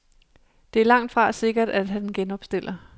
Det er langtfra sikkert, at han genopstiller.